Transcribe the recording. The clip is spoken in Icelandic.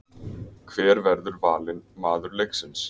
Hver verður valinn maður leiksins?